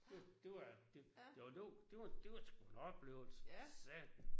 Det var det det var det var det var sgu en oplevelse for satan